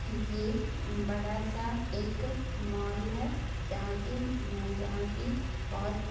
ये उम बड़ा सा एक मॉल है जहा की-जहा की बहोत --